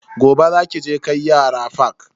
Gobe za ki je kai yara fak.